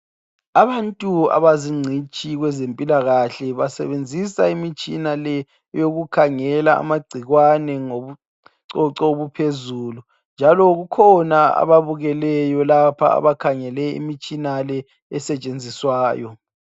Abantu abazingcitshi kwezempilakahle basebenzisa imitshina le ukukhangela amagcikwane ngobucoco obuphezulu njalo kukhona ababukeleyo lapha abakhangele imitshina le esetshenziswayo.